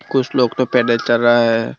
कुछ लोग तो पैदल चल रहा है।